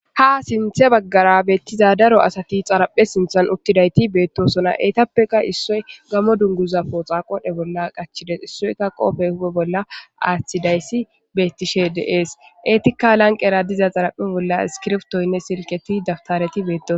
Ha sinthe baggara beettiza daro asati xaraphe sinthan uttidayti beettosona eetappeka issoy gamo dunguza pooxa qodhe bolla qachides issoyka qoofey hube bolla aaththidayssi beettishe deees eetikka lanqera diza xaraphe bolla iskirftoynne silketi dabtareti beettos